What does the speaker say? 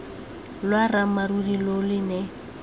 lwa ramarumo lo ne lo